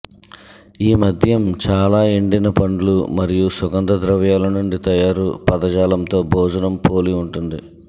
ఈ మద్యం చాలా ఎండిన పండ్లు మరియు సుగంధ ద్రవ్యాలు నుండి తయారు పదజాలంతో భోజనం పోలి ఉంటుంది